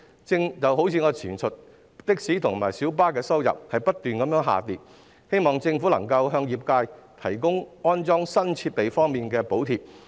正如我剛才提到，的士及小巴的收入不斷下跌，希望政府能向業界提供安裝新設備的補貼。